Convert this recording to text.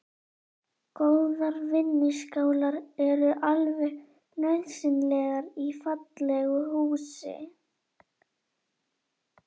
Góðar vinnuskálar eru alveg nauðsynlegar í fallegu eldhúsi.